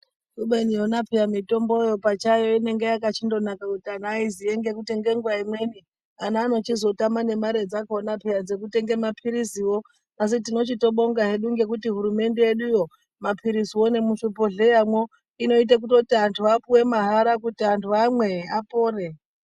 Kubeni yona peya mutomboyo pachayo inenge yakachindonaka kuti antu aiziye ngekuti ngenguva imweni ana anochizotama nemare dzakona peya dzekutenge mapiriziwo. Asi tinochitobonga hedu ngekuti hurumende yeduyo, mapiriziwo nemuzvibhodhleyamwo anoite kutoti antu apuwe mahara kuti antu amwe, apore.